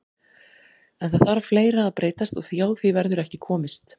En það þarf fleira að breytast og hjá því verður ekki komist.